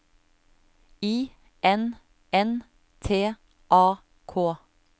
I N N T A K